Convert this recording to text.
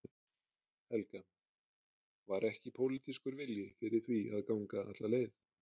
Helga: Var ekki pólitískur vilji fyrir því að ganga alla leið?